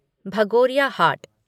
Bhagoria Haat